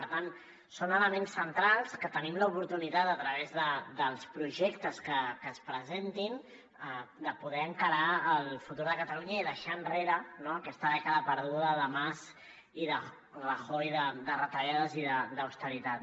per tant són elements centrals que tenim l’oportunitat a través dels projectes que es presentin de poder encarar el futur de catalunya i deixar enrere aquesta dècada perduda de mas i de rajoy de retallades i d’austeritat